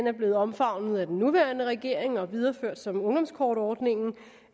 er blevet omfavnet af den nuværende regering og videreført som ungdomskortordningen